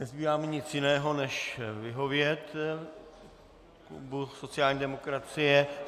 Nezbývá mi nic jiného než vyhovět klubu sociální demokracie.